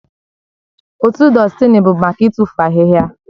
Otu dustini bụ maka ịtụfu ahịhịa